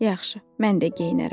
Yaxşı, mən də geyinərəm.